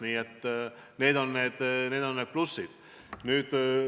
Nii et need on need plussid.